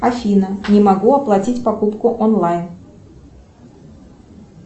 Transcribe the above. афина не могу оплатить покупку онлайн